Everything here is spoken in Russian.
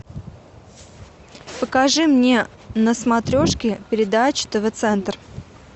покажи мне на смотрешке передачу тв центр